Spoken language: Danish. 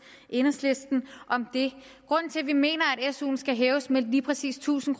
enhedslisten om det grunden til vi mener at suen skal hæves med lige præcis tusind